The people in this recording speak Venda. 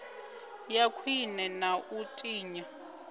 ya khwine na u tinya